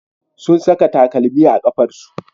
Sun saka takalmi a kafarsu.